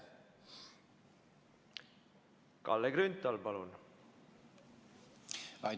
Kalle Grünthal, palun!